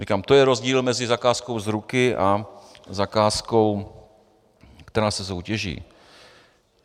Říkám, to je rozdíl mezi zakázkou z ruky a zakázkou, která se soutěží.